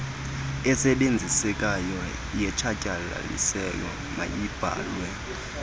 esebenzisekayo yotshatyalaliso mayibhalwe